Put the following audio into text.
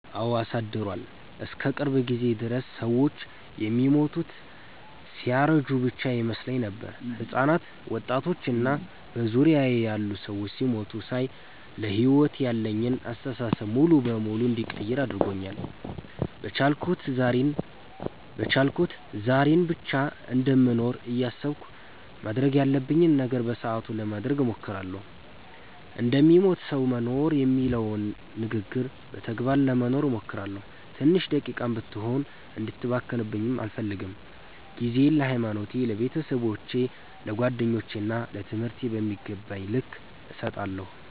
አወ አሳድሯል። እስከ ቅርብ ጊዜ ድረስ ሰወች የሚሞቱት ሲያረጁ ብቻ ይመስለኝ ነበር። ህጻናት፣ ወጣቶች እና በዙሪያየ ያሉ ሰዎች ሲሞቱ ሳይ ለሕይወት ያለኝን አስተሳሰብ ሙሉ በሙሉ እንድቀይር አድርጎኛል። በቻልኩት ዛሬን ብቻ እንደምኖር እያሰብኩ ማድረግ ያለብኝን ነገር በሰአቱ ለማድረግ እሞክራለሁ። እንደሚሞት ሰዉ መኖር የሚባለውን ንግግር በተግባር ለመኖር እሞክራለሁ። ትንሽ ደቂቃም ብትሆን እንድትባክንብኝ አልፈልግም። ጊዜየን ለሀይማኖቴ፣ ለቤተሰቦቼ፣ ለጓደኞቼ እና ለትምህርቴ በሚገባቸዉ ልክ እሰጣለሁ።